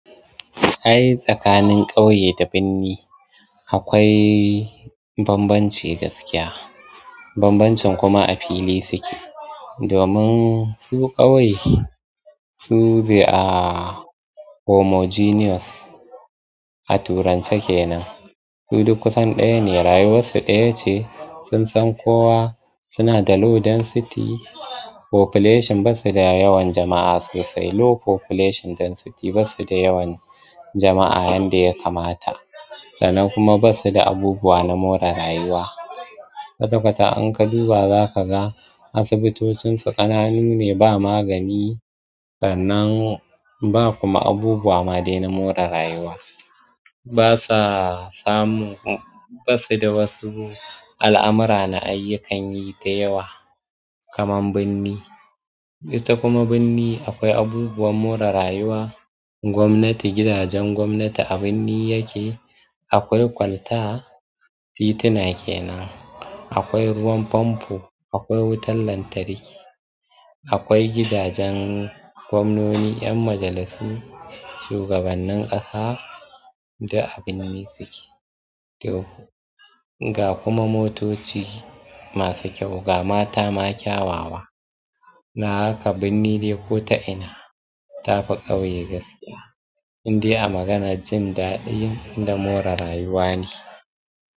Ai tsakanin ƙauye da birni akwai bambanci gaskiya. Bambancin kuma a fili suke. Domin su ƙauye su they are homogeneous, a turance kenan. Su duk kusan ɗaya ne rayuwar su ɗaya ce. Sun san kowa suna da low density population. Bussu da yawan jama'a sosai. Low population density bussu da yawan jama'a yanda ya kamata. Sannan kuma ba su da abubuwa na more rayuwa. Kwta-kwata in ka duba zaka ga asibitocin su ƙananu ne ba magani, sannan ba kuma abubuwa ma dai na more rayuwa. Ba sa samun, bassu da wasu al'amura na ayyukan yi dayawa kaman binni, ita kuma binni akwai abubuwan more rayuwa. Gwamnati, gidajen gwamnati a birni yake. Akwai kwalta, titina kenan. Akwai ruwan famfo, akwai wutar lantarki. Akwai gidajen gwamnoni, 'yan majalissu, shugabannin ƙasa duk a binni suke. Ga kuma motoci masu kyau, ga mata ma kyawawa. Don haka binni dai ko ta ina tafi ƙauye gaskiya. Inde a magana jin daɗi da more rayuwa ne.